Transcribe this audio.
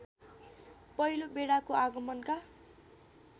पहिलो बेडाको आगमनका